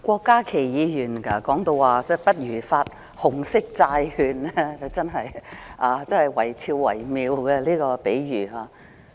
郭家麒議員說不如發行紅色債券，他這個比喻真的維肖維妙。